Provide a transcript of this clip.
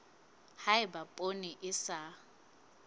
ha eba poone e sa